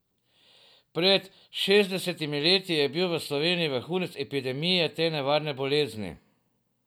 Pred šestdesetimi leti je bil v Sloveniji vrhunec epidemije te nevarne bolezni.